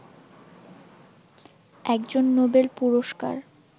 একজন নোবেল পুরস্কার